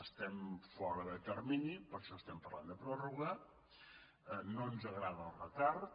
estem fora de termini per això estem parlant de pròrroga i no ens agrada el retard